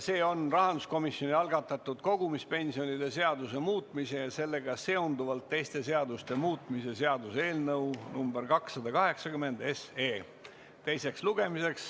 See on rahanduskomisjoni algatatud kogumispensionide seaduse muutmise ja sellega seonduvalt teiste seaduste muutmise seaduse eelnõu 287 teine lugemine.